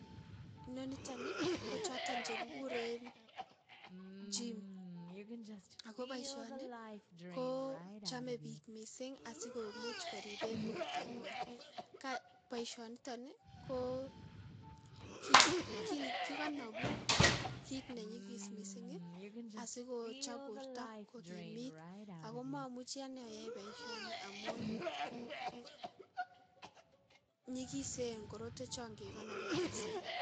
Noniton kochotok chekikuren chiim akoboishoni kochome biik mising asikomuch koriben bortanywan, boishoniton ii ko kikonobuu kiit nenyikis mising asikochob borto kokimiit, akoo momuchi anee ayaii boishoni amun nyikisen korotwechon kekonobi mising.